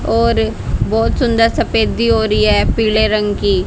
और बहोत सुंदर सफेदी हो रही है पीले रंग की--